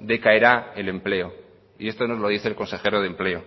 decaerá el empleo y esto nos lo dice el consejero de empleo